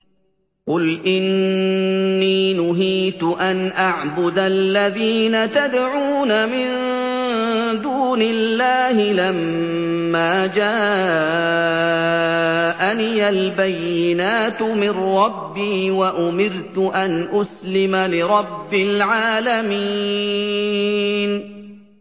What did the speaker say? ۞ قُلْ إِنِّي نُهِيتُ أَنْ أَعْبُدَ الَّذِينَ تَدْعُونَ مِن دُونِ اللَّهِ لَمَّا جَاءَنِيَ الْبَيِّنَاتُ مِن رَّبِّي وَأُمِرْتُ أَنْ أُسْلِمَ لِرَبِّ الْعَالَمِينَ